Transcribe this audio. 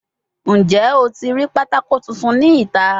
Njẹ o ti rii patako tuntun ni ita?